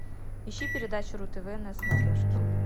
ищи передачу ру тв на смотрешке